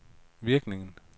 virkning